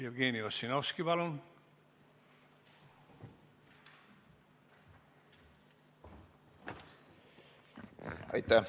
Jevgeni Ossinovski, palun!